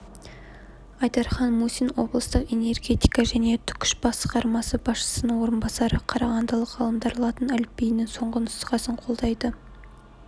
айдархан мусин облыстық энергетика және түкш басқармасы басшысының орынбасары қарағандылық ғалымдар латын әліпбиінің соңғы нұсқасын қолдайды